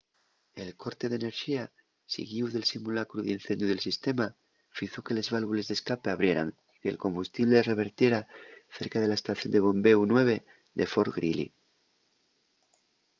el corte d'enerxía siguíu del simulacru d'incendiu del sistema fizo que les válvules d'escape abrieran y que'l combustible revertiera cerca de la estación de bombéu 9 de fort greely